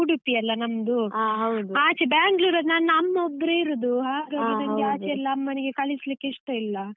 ಉಡುಪಿಯಲ್ಲ ನಮ್ದು, ಆಚೆ Bangalore ನನ್ನ ಅಮ್ಮ ಒಬ್ರೆ ಇರುದು ಹಾಗಾಗಿ ನಂಗೆ ಆಚೆ ಎಲ್ಲ ಅಮ್ಮನಿಗೆ ಕಳಿಸ್ಲಿಕ್ಕೆ ಇಷ್ಟ ಇಲ್ಲ.